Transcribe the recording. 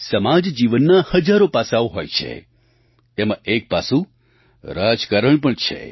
સમાજજીવનનાં હજારો પાસાં હોય છે તેમાં એક પાસું રાજકારણ પણ છે